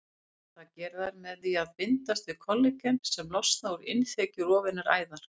Það gera þær með því að bindast við kollagen sem losnar úr innþekju rofinnar æðar.